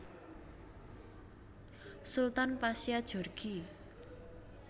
Sultan Pasya Djorghi